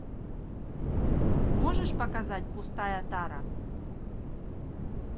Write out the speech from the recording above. можешь показать пустая тара